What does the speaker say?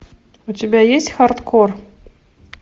у тебя есть хардкор